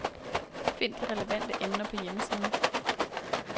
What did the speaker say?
Find de relevante emner på hjemmesiden.